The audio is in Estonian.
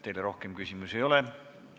Teile rohkem küsimusi ei ole.